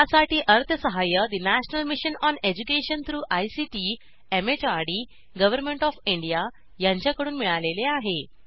यासाठी अर्थसहाय्य national mission on education through ICT MHRD government of India यांच्याकडून मिळालेले आहे